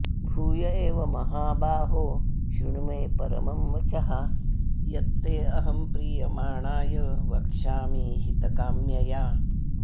भूय एव महाबाहो शृणु मे परमं वचः यत् ते अहं प्रीयमाणाय वक्ष्यामि हितकाम्यया